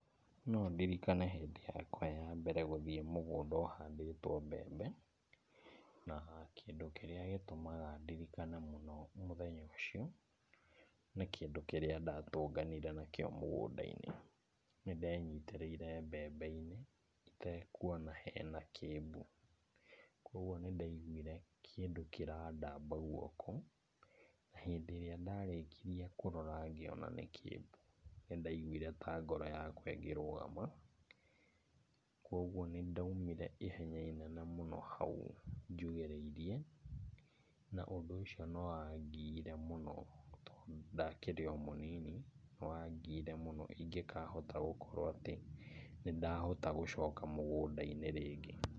No ndirikane hĩndĩ yakwa ya mbere gũthiĩ mũgũnda ũhandĩtwo mbembe, na kĩndũ kĩrĩa gĩtumaga ndirikane mũno mũthenya ũcio, nĩ kĩndũ kĩrĩa ndatũnganire nakĩo mũgũnda-inĩ. Nĩndenyitĩrĩire mbembe-inĩ itekuona hena kĩmbu, kuoguo nĩndaiguire kĩndũ kĩrandamba guoko, hĩndĩ ĩrĩa ndarĩkirie kũrora ngĩona nĩ kĩmbu. Nĩ ndaiguire ta ngoro yakwa ĩngĩrũgama kuoguo nĩndaumire ihenya inene mũno hau njugĩrĩirie, na ũndũ ũcio nĩ wangiire mũno tondũ ndakĩrĩ o mũnini, nĩ wangiire mũno ĩngĩkahota gũkorwo atĩ nĩ ndahota gũcoka mũgũnda-inĩ rĩngĩ.